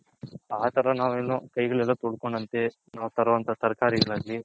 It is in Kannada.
ಆ ತರ ನಾವ್ ಇನ್ನು ಕೈ ಗಳು ಎಲ್ಲಾ ತೊಳ್ಕೊಂಡ್ ಅಂತೆ ನಾವ್ ತರೋ ಅಂತ ತರಕಾರಿ ಗಳಗ್ಲಿ